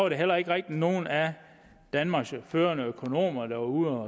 der heller ikke rigtig nogen af danmarks førende økonomer der var ude